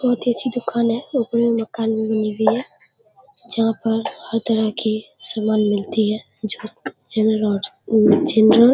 बोहोत ही अच्छी दुकान है मकान बनी हुई है। जहाँ पर हर तरह के सामान मिलती है। जन जनरल --